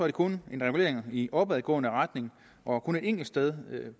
det kun en regulering i opadgående retning og kun et enkelt sted